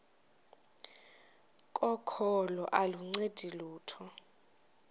kokholo aluncedi lutho